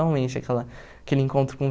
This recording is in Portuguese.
aquela aquele encontro com